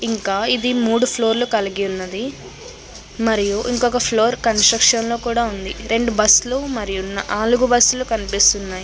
ఇంకా ఇది మూడు ఫ్లోర్ లు కలిగి ఉన్నది. మరియు ఇంకొక ఫ్లోర్ కన్స్ట్రక్షన్ లో కూడా ఉంది. రెండు బస్సులు మరియు నాలుగు బస్సులు కనిపిస్తున్నాయి.